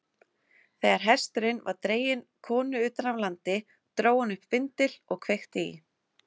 Þegar hesturinn var dreginn konu utan af landi, dró hann upp vindil og kveikti í.